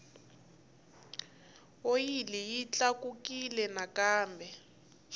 oyili yi tlakukile nakambe